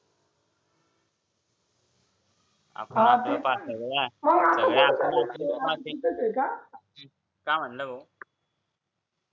आपण आपलं पाहायचं सगळे काय म्हंटला भाऊ